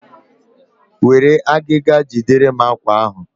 Were agịga jiderem àkwá ahụ!